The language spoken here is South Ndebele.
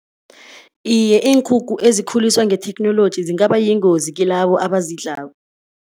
Iye, iinkukhu ezikhuliswa ngetheknoloji zingaba yingozi kilabo abazidlako.